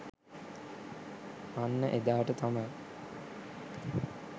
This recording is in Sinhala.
අන්න එදාට තමයි